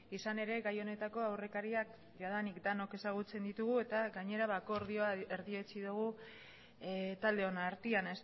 izan ere gai honetako aurrekariak jadanik denok ezagutzen ditugu eta gainera akordioa erdietsi dugu taldeon artean